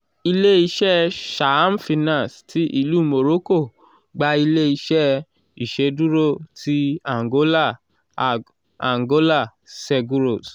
ile-iṣẹ saham finance ti ilu morocco gba ile-iṣẹ iṣeduro ti angola ag angola seguros